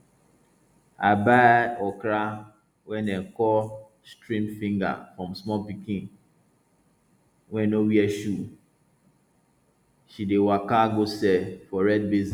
i buy okra wey dem call stream finger from small pikin wey no wear shoe she dey waka go sell for red basin